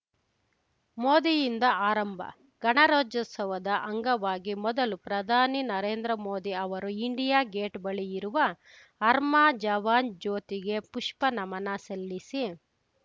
ಮೋದಿಯಿಂದ ಆರಂಭ ಗಣರಾಜ್ಯೋತ್ಸವದ ಅಂಗವಾಗಿ ಮೊದಲು ಪ್ರಧಾನಿ ನರೇಂದ್ರ ಮೋದಿ ಅವರು ಇಂಡಿಯಾ ಗೇಟ್‌ ಬಳಿ ಇರುವ ಅರ್ಮ ಜವಾನ್‌ ಜ್ಯೋತಿಗೆ ಪುಷ್ಪ ನಮನ ಸಲ್ಲಿಸಿ